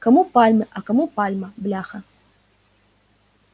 кому пальмы а кому пальма бляха